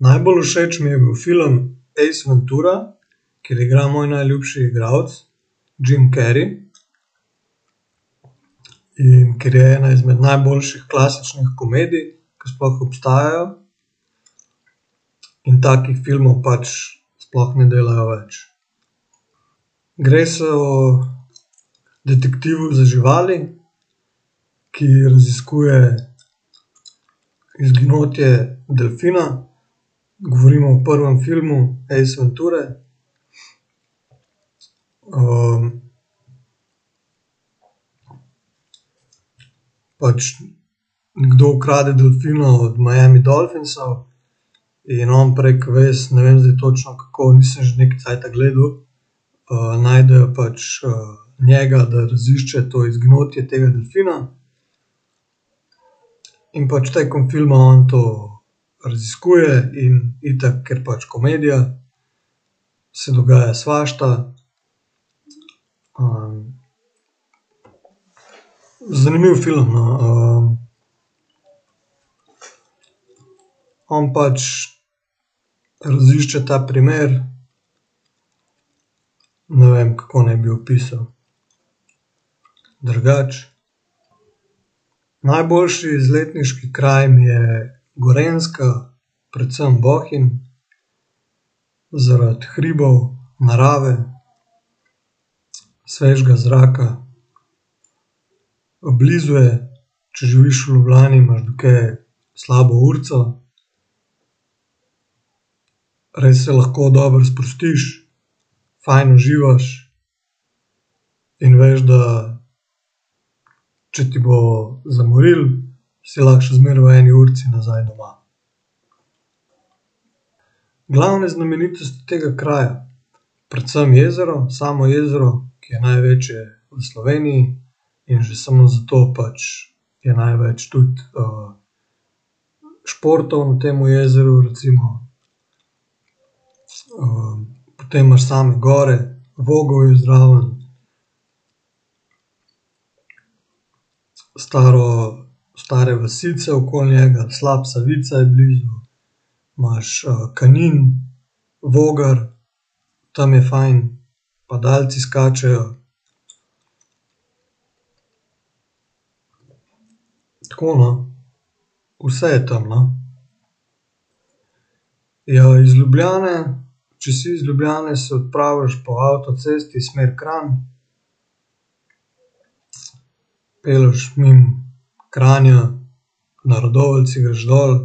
Najbolj všeč mi je bil film Ace Ventura, ker igra moj najljubši igrauc, Jim Carrey. In ker je ena izmed najboljših klasičnih komedij, ke sploh obstajajo. In takih filmov pač sploh ne delajo več. Gre se o detektivu za živali, ki raziskuje izginotje delfina, govorimo v prvem filmu Ace Venture. pač nekdo ukrade delfina od Miami Dolphinsov in on prek vez, ne vem zdaj točno, kako, nisem že nekaj cajta gledal, najdejo pač, njega, da razišče to izginotje tega delfina. In pač tekom filma on to raziskuje in itak, ker pač komedija, se dogaja svašta, Zanimiv film, no, on pač razišče ta primer, ne vem, kako naj bi opisal drugače. Najboljši izletniški kraj mi je Gorenjska, predvsem Bohinj, zaradi hribov, narave, svežega zraka. blizu je, če živiš v Ljubljani, imaš do tja slabo urico. Res se lahko dobro sprostiš, fajn uživaš in veš, da če ti bo zamorilo, si lahko še zmeraj v eni urici nazaj doma. Glavne znamenitosti tega kraja? Predvsem jezero, samo jezero, ki je največje v Sloveniji. In že samo zato pač je največ tudi, športov na temu jezeru, recimo. potem imaš same gor, Vogel je zraven. Staro, stare vasice okoli njega, slap Savica je blizu. Imaš, Kanin, Voger, tam je fajn. Padalci skačejo. Tako, no. Vse je tam, no. Ja, iz Ljubljane, če si iz Ljubljane, se odpraviš po avtocesti smer Kranj. Pelješ mimo Kranja, na Radovljici greš dol,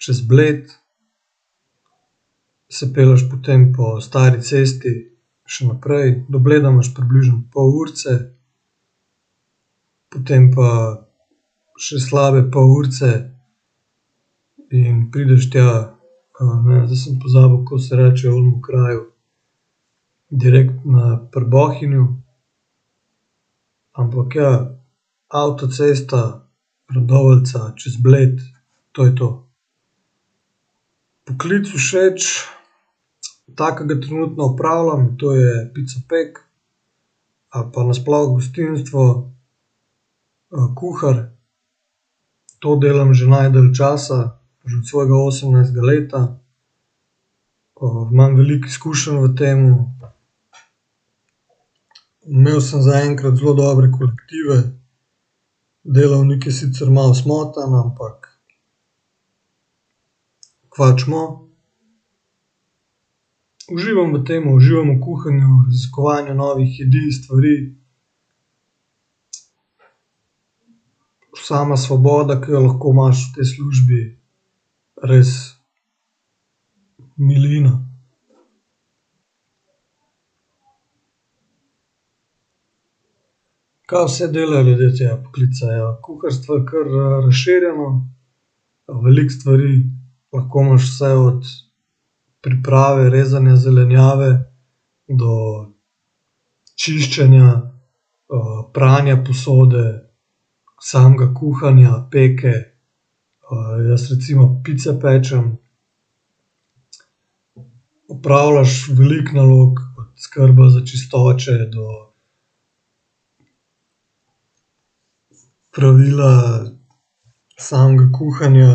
čez Bled. Se pelješ potem po stari cesti še naprej. Do Bleda imaš približno pol urice. Potem pa še slabe pol urice in prideš tja, ne vem, zdaj sem pozabil, kako se reče onemu kraju direkt na pri Bohinju. Ampak, ja, avtocesta Radovljica čez Bled. To je to. Poklic všeč ta, ke ga trenutno opravljam. To je picopek. Ali pa nasploh gostinstvo, kuhar. To delam že najdlje časa, že od svojega osemnajstega leta. imam veliko izkušenj v tem. Imel sem zaenkrat zelo dobre kolektive. Delavnik je sicer malo smotan, ampak kva hočemo. Uživam v tem, uživam v kuhanju, raziskovanju novih jedi, stvari. Sama svoboda, ke jo lahko imaš v tej službi. Res, milina. Kaj vse delajo ljudje tega poklica. Ja, kuharstvo je kar, razširjeno. veliko stvari, lahko imaš vse od priprave, rezanja zelenjave do čiščenja, pranja posode, samega kuhanja, peke, jaz recimo pice pečem. Opravljaš veliko nalog. Od skrbe za čistoče do pravila samega kuhanja,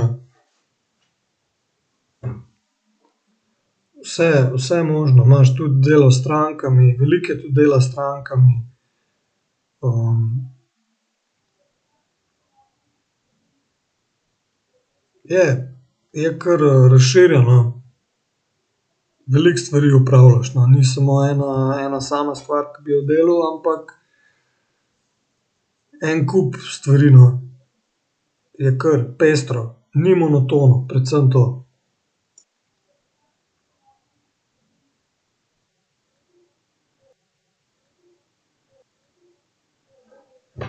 vse, vse možno. Imaš tudi delo s strankami. Veliko je tudi dela s strankami. Je, je kar razširjen, no. Veliko stvari opravljaš, no. Ni samo ena, ena sama stvar, ke bi jo delal, ampak en kup stvari, no. Je kar pestro. Ni monotono. Predvsem to.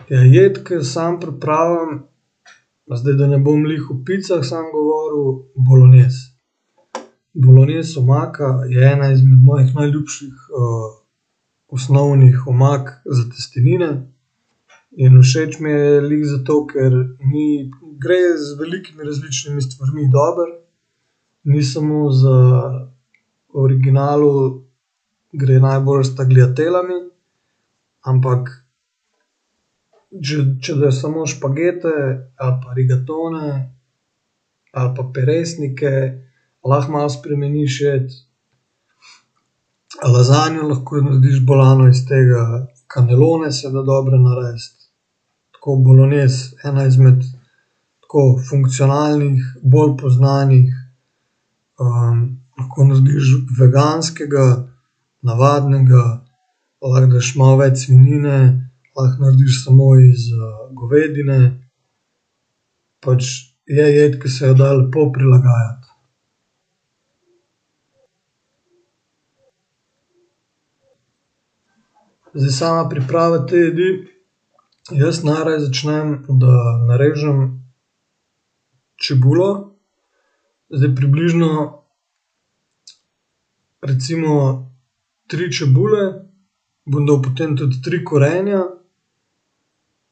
Ja jed, ke jo samo pripravljam, zdaj, da ne bom glih o picah samo govoril. bolognese. Bolognese omaka je ena izmed mojih najljubših, osnovnih omak za testenine. In všeč mi je glih zato, ker ni, gre z velikimi različnimi stvarmi dobro. Ni samo za v originalu gre najbolj s tagliatellami. Ampak če, če daš samo špagete ali pa rigatone ali pa peresnike, lahko malo spremeniš jed. lazanjo lahko narediš bolano iz tega, kanelone se da dobre narediti. Tako bolognese, ena izmed tako funkcionalnih, bolj poznanih, lahko narediš veganskega, navadnega, lahko daš malo več svinjine, lahko narediš samo iz, govedine. Pač, je jed, ke se jo da lepo prilagajati. Zdaj, sama priprava te jedi. Jaz najraje začnem, da narežem čebulo, zdaj približno recimo tri čebule, bom dal potem tudi tri korenja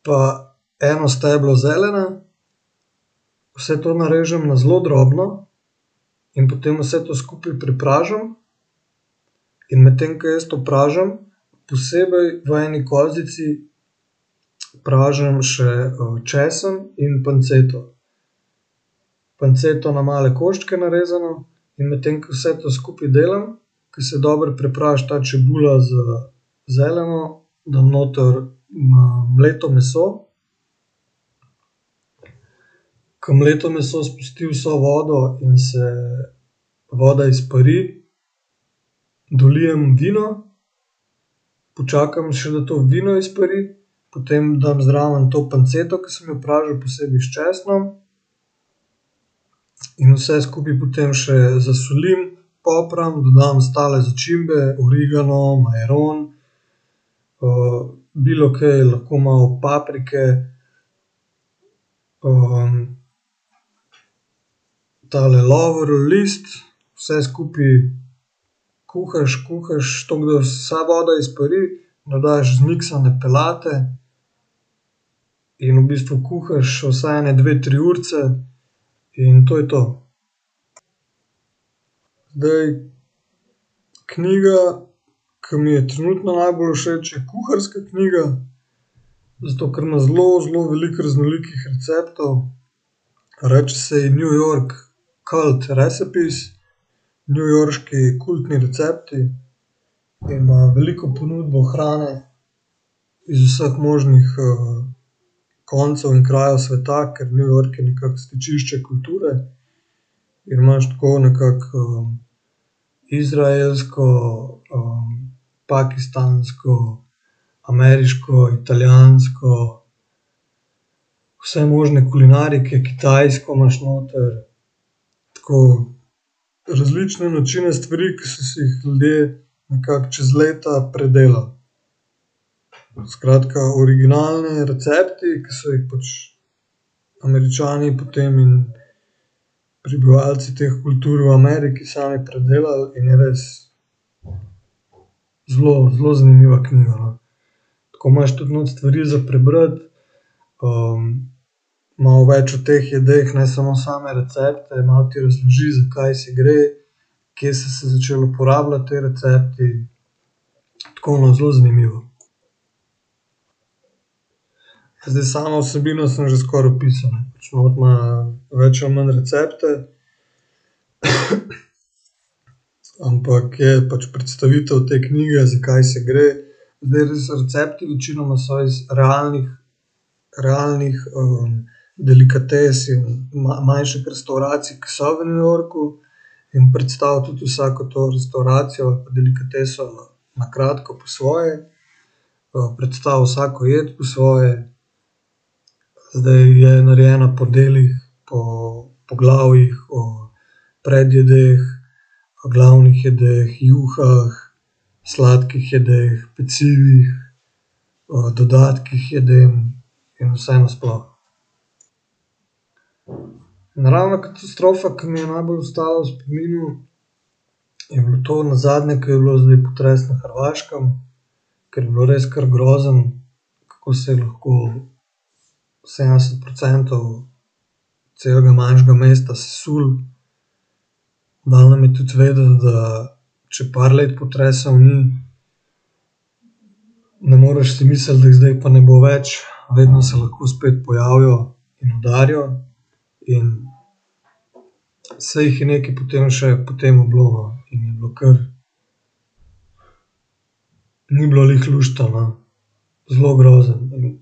pa eno steblo zelene. Vse to narežem na zelo drobno in potem vse to skupaj prepražim, in medtem ko jaz to pražim, posebej v eni kozici pražim še, česen in panceto. Panceto na male koščke narezano, in medtem ko vse to skupaj delam, ke se dobro prepraži ta čebula z zeleno, dam noter ma mleto meso. Ke mleto meso spusti vso vodo in se voda izpari, dolijem vino, počakam še, da to vino izpari, potem dam zraven to panceto, ke sem jo pražil posebej s česnom. In vse skupaj potem še zasolim, popram, dodam ostale začimbe, origano, majaron, bilokaj, lahko malo paprike. tale lovorov list, vse skupaj kuhaš, kuhaš, tako, da vsa voda izpari. Dodaš zmiksane peljati in v bistvu kuhaš vsaj ene dve, tri urice. In to je to. Zdaj, knjiga, ke mi je trenutno najbolj všeč, je kuharska knjiga. Zato ker ima zelo, zelo veliko raznolikih receptov. Reče se ji New York cult recipes. Newyorški kultni recepti. Ima veliko ponudbo hrane iz vseh možnih, koncev in krajev sveta, ker New York je nekako stičišče kulture. In imaš tako nekako, izraelsko, pakistansko, ameriško, italijansko. Vse možne kulinarike, kitajsko imaš noter. Tako različne načine stvari, ke so se jih ljudje nekako čez leta predelali. Skratka, originalni recepti, ke so jih pač Američani potem in prebivalci teh kultur v Ameriki sami predelali in je res zelo, zelo zanimiva knjiga, no. Tako imaš tudi not stvari za prebrati. malo več o teh jedeh, ne samo same recepte. Malo ti razloži, zakaj se gre. Kje so se začeli uporabljati ti recepti. Tako, no, zelo zanimivo. Zdaj samo vsebino sem že skoraj opisal, ne, pač not ima več ali manj recepte. Ampak je pač predstavitev te knjige, zakaj se gre. Zdaj res recepti večinoma so iz realnih, realnih, delikates in manjših restavracij, ke so v New Yorku. In predstavi tudi vsako to restavracijo, delikateso, na kratko, po svoje. predstavi vsako jed po svoje. zdaj je narejena po delih, po poglavjih o predjedeh, glavnih jedeh, juhah, sladkih jedeh, pecivih, dodatkih k jedem in vse nasploh. Naravna katastrofa, ke mi je najbolj ostala v spominu, je bilo to nazadnje, ke je bil zdaj potres na Hrvaškem. Ker je bilo res kar grozno. Kako se je lahko sedemdeset procentov celega manjšega mesta sesulo. V glavnem je tudi vedeti, da če par let potresov ni, ne moreš si misliti, da jih zdaj pa ne bo več. Vedno se lahko spet pojavijo in udarijo in saj jih je nekaj potem še po tem bilo, no, in je bilo kar, ni bilo glih luštno, no. Zelo grozno in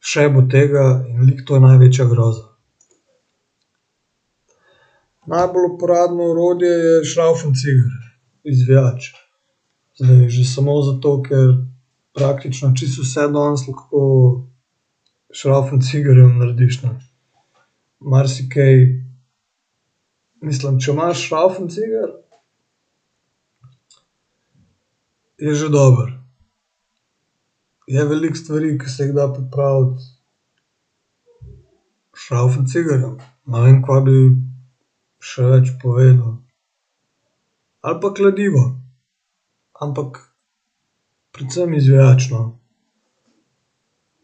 še bo tega in glih to je največja groza. Najbolj uporabno orodje je šravfenciger. Izvijač. Že samo zato, ker praktično, čisto vse danes lahko s šravfencigerjem narediš, ne. Marsikaj mislim, če imaš šravfenciger, je že dobro. Je veliko stvari, ke se jih da popraviti, s šravfencigerjem. Ne vem, kaj bi še več povedal. Ali pa kladivo. Ampak predvsem izvijač, no.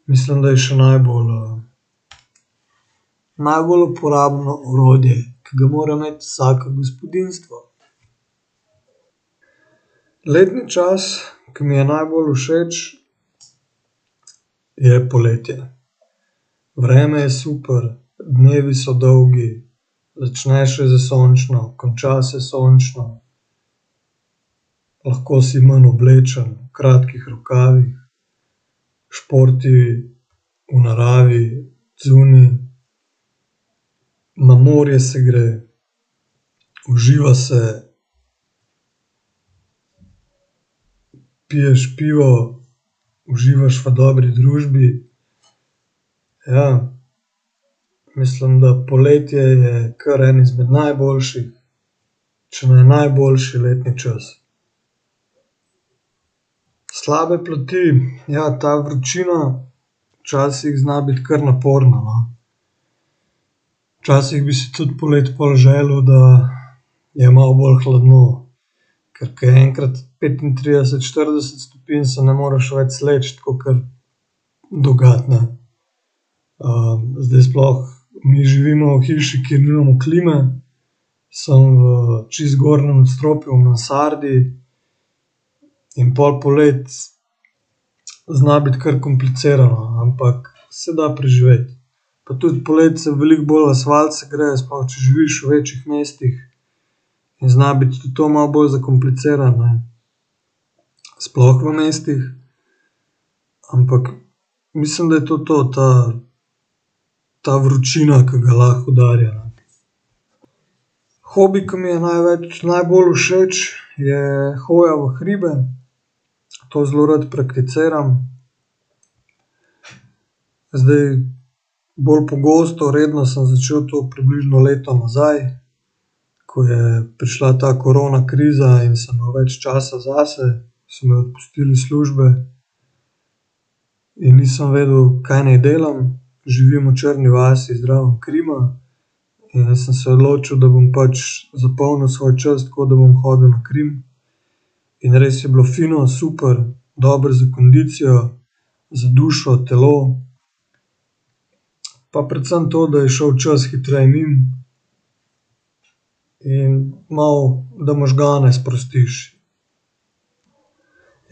Mislim, da je še najbolj, najbolj uporabno orodje, ke ga mora imeti vsako gospodinjstvo. Letni čas, ko mi je najbolj všeč, je poletje. Vreme je super, dnevi so dolgi, začne še s sončno, konča se sončno. Lahko si manj oblečen, v kratkih rokavih. Športi v naravi, zunaj. Na morje se gre. Uživa se. Piješ pivo, uživaš v dobri družbi. Ja. Mislim, da poletje je kar en izmed najboljših, če ne najboljši letni čas. Slabe plati, ja, ta vročina včasih zna biti kar naporna, no. Včasih bi si tudi poleti pol želel, da, da je malo bolj hladno, ker ke je enkrat petintrideset, štirideset stopinj, se ne moreš več sleči kakor do gat, ne. zdaj sploh mi živimo v hiši, kjer nimamo klime, samo v čisto zgornjem nadstropju, v mansardi. In pol poleti zna biti kar komplicirano, ampak se da preživeti. Pa tudi poleti se veliko bolj asfalt segreje sploh, če živiš v večjih mestih. In zna biti tudi to malo bolj zakomplicirano, ne. Sploh v mestih. Ampak mislim, da je to to, ta, ta vročina, ke ga lahko udarja. Hobi, ke mi je najbolj všeč, je hoja v hribe. To zelo rad prakticiram. Zdaj, bolj pogosto, redno sem začel to približno leto nazaj, ko je prišla ta koronakriza in sem imel več časa zase. So me odpustili iz službe. In nisem vedel, kaj naj delam. Živim v Črni vasi zraven Krima in jaz sem se odločil, da bom pač zapolnil svoj čas tako, da bom hodil na Krim. In res je bilo fino, super, dobro za kondicijo, za dušo, telo. Pa predvsem to, da je šel čas hitreje mimo. In malo, da možgane sprostiš.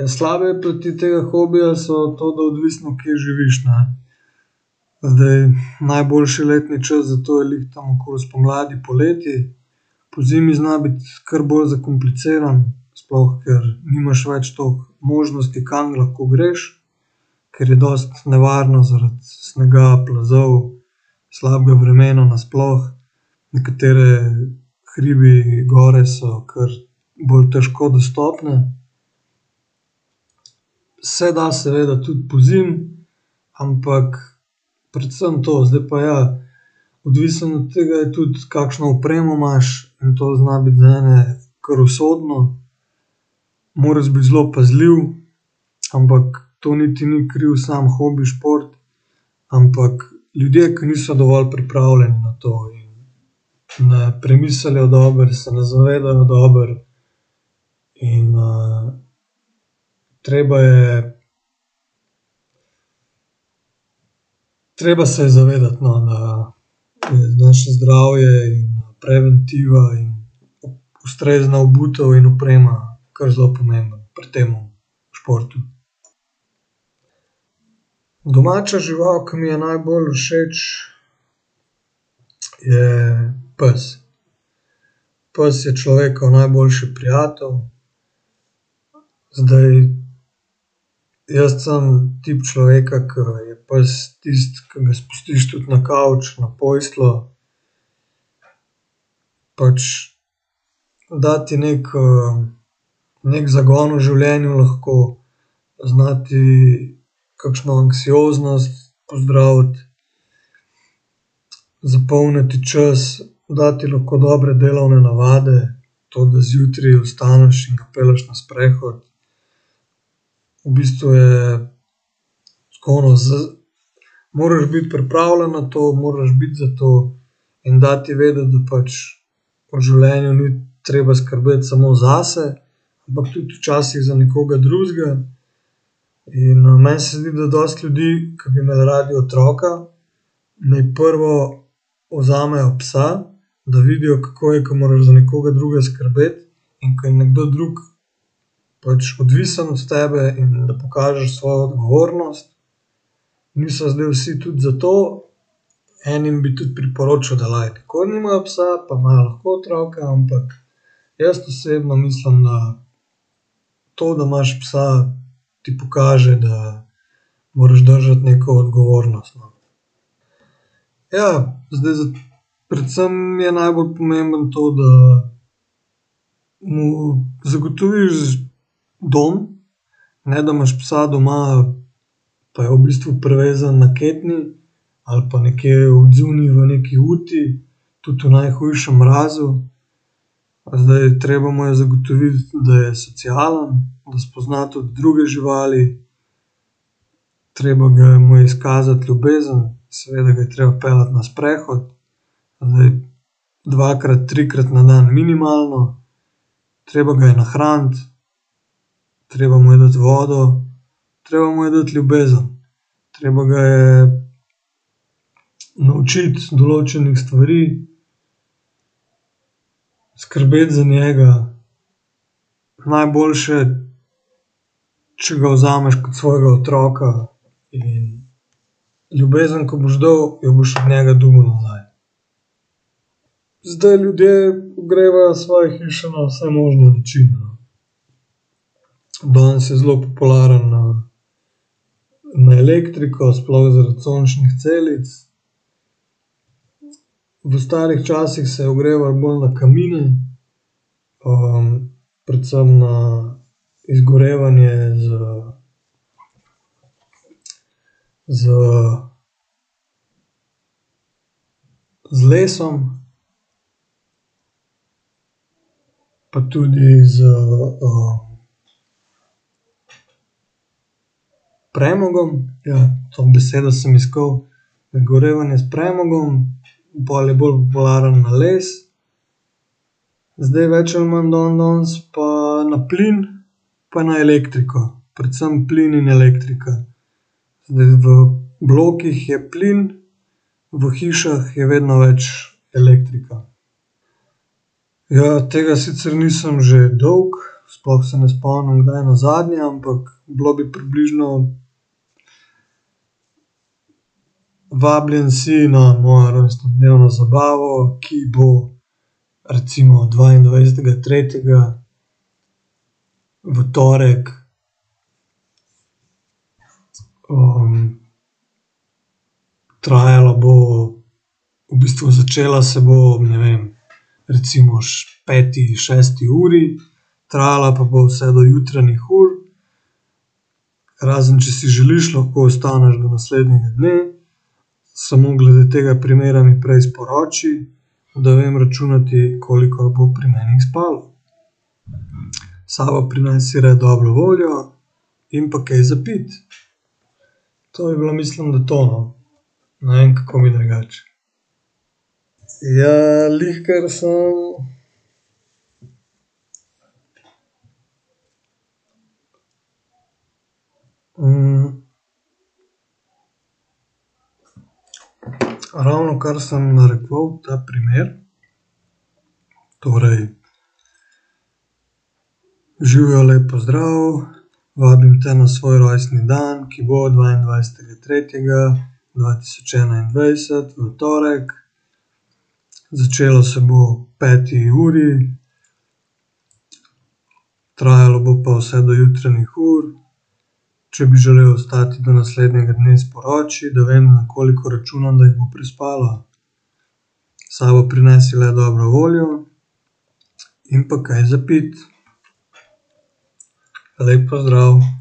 Ja, slabe plati tega hobija so to, da odvisno, kje živiš, ne. Zdaj najboljši letni čas za to je glih tam okoli spomladi, poleti. Pozimi zna biti kar bolj zakomplicirano, sploh ker nimaš več toliko možnosti, kam lahko greš. Ker je dosti nevarno zaradi snega, plazov. Slabega vremena nasploh. Nekateri hribi, gore so kar bolj težko dostopne. Se da seveda tudi pozimi, ampak predvsem to, zdaj pa ja. Odvisno od tega je tudi, kakšno opremo imaš. In to zna biti za ene kar usodno. Moraš biti zelo pazljiv. Ampak to niti ni kriv samo hobi šport, ampak ljudje, ki niso dovolj pripravljeni na to, in ne premislijo dobro, se ne zavedajo dobro in, treba je, treba se je zavedati, no, da je naše zdravje in preventiva in ustrezna obutev in oprema kar zelo pomembno pri temu športu. Domača žival, ke mi je najbolj všeč, je pes. Pes je človekov najboljši prijatelj. Zdaj, jaz sem tip človeka, ke je pes tisti, ki ga spustiš tudi na kavč, na posteljo. Pač da ti neki, neki zagon v življenju lahko, zna ti kakšno anksioznost pozdraviti. Zapolni ti čas, da ti lahko dobre delovne navade, to, da zjutraj vstaneš in ga pelješ na sprehod. V bistvu je tako, no, z moraš biti pripravljen na to, moraš biti za to in da ti vedeti, da pač v življenju ni treba skrbeti samo zase, ampak tudi včasih za nekoga drugega in, meni se zdi, da dosti ljudi, ki bi imeli radi otroka, naj prvo vzamejo psa, da vidijo, kako je, ke moraš za nekoga drugega skrbeti, in ke je nekdo drug pač odvisen od tebe in da pokažeš svojo odgovornost, niso zdaj vsi tudi zato, enim bi tudi priporočal, da like nikoli nimajo psa, pa imajo lahko otroka, ampak jaz osebno mislim, da to, da imaš psa, ti pokaže, da moraš držati neko odgovornost, no. Ja zdaj predvsem je najbolj pomembno to, da mu zagotoviš dom, ne da imaš psa doma pa je v bistvu privezan na ketni ali pa nekje odzunaj v neki uti. Tudi v najhujšem mrazu. Zdaj treba mu je zagotoviti, da je socialen, da spozna tudi druge živali. Treba ga je, imel izkazati ljubezen, seveda ga je treba peljati na sprehod. Zdaj, dvakrat, trikrat na dan minimalno. Treba ga je nahraniti, treba mu je dati vodo, treba mu je dati ljubezen, treba ga je naučiti določenih stvari. Skrbeti za njega, najboljše, če ga vzameš kot svojega otroka, in ljubezen, ke boš dal, jo boš od njega dobil nazaj. Zdaj, ljudje ogrevajo svoje hiše na vse možne načine, no. Danes je zelo popularno, na elektriko, sploh zaradi sončnih celic. V starih časih se je ogrevalo bolj na kamine. predvsem na izgorevanje z, z z lesom. Pa tudi s, premogom, ja to besedo sem iskal. Izgorevanje s premogom in pol je bolj varno na les. Zdaj več ali manj dandanes pa na plin, pa na elektriko, predvsem plin in elektrika. Zdaj, v blokih je plin, v hišah je vedno več elektrika. Ja, tega sicer nisem že dolgo, sploh se ne spomnim, kdaj nazadnje, ampak bilo bi približno, vabljen si na mojo rojstnodnevno zabavo, ki bo recimo dvaindvajsetega tretjega v torek, trajala bo, v bistvu začela se bo, ne vem, recimo peti, šesti uri. Trajala pa bo vse do jutranjih ur. Razen če si želiš, lahko ostaneš do naslednjega dne, samo glede tega primera mi prej sporoči. Da vem računati, koliko jih bo pri meni spalo. S sabo prinesi le dobro voljo in pa kaj za piti. To je bilo, mislim, da to, no. Ne vem, kako bi drugače. Ja glihkar sem, ravnokar sem narekoval ta primer. Torej, živjo, lep pozdrav, vabim te na svoj rojstni dan, ki bo dvaindvajsetega tretjega dva tisoč dvaindvajset, v torek. Začelo se bo ob peti uri. Trajalo bo pa vse do jutranjih ur. Če bi želel ostati do naslednjega dne, sporoči, da vem, na koliko računam, da jih bo prespalo. S sabo prinesi le dobro voljo in pa kaj za piti. Lep pozdrav.